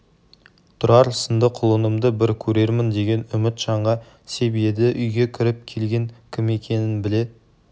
тұрар сынды құлынымды бір көрермін деген үміт жанға сеп еді үйге кіріп келген кім екенін біле